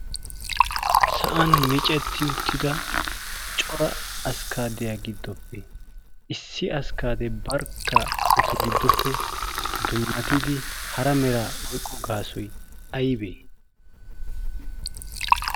Sa'an miicetti uttida cora askkaadiyaa giddoppe issi askkaade barkka etu giddoppe dummatidi hara mera oyqqo gaasoy aybee?